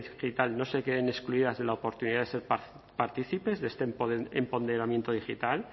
digital no se queden excluidas de la oportunidad de ser partícipes de este empoderamiento digital